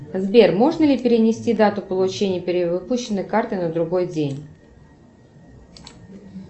сбер можно ли перенести дату получения перевыпущенной карты на другой день